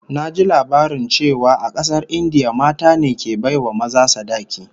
Naji labarin cewa a kasar India mata ne ke bai wa maza sadaki